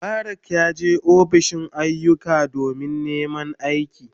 Mubarak yaje ofishin ayyuka domin neman aiki.